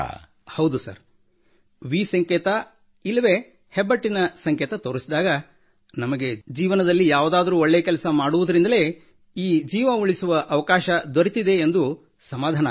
ಹೌದು sir V ಸಂಕೇತ ಇಲ್ಲ ಹೆಬ್ಬೆಟ್ಟಿನ ಸಂಕೇತ ತೋರಿದಾಗ ನಮಗೆ ಜೀವನದಲ್ಲಿ ಯಾವುದಾದರೂ ಒಳ್ಳೆ ಕೆಲಸ ಮಾಡಿದುದರಿಂದಲೇ ಈ ಜೀವ ಉಳಿಸುವ ಅವಕಾಶ ದೊರೆತಿದೆ ಎಂದು ಸಮಾಧಾನವಾಗುತ್ತದೆ